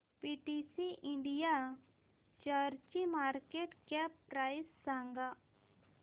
PTC India शेअरची market cap price सांगा